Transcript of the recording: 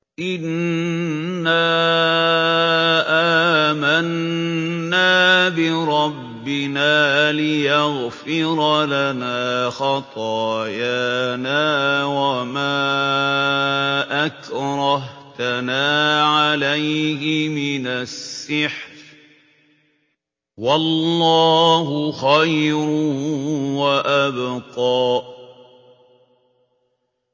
إِنَّا آمَنَّا بِرَبِّنَا لِيَغْفِرَ لَنَا خَطَايَانَا وَمَا أَكْرَهْتَنَا عَلَيْهِ مِنَ السِّحْرِ ۗ وَاللَّهُ خَيْرٌ وَأَبْقَىٰ